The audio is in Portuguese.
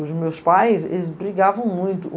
Os meus pais, eles brigavam muito.